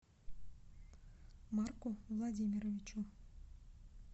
марку владимировичу